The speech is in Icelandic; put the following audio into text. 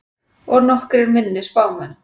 Og nokkrir minni spámenn.